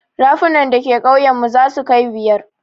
Rafunan da ke ƙauyen mu zasu kai biyar.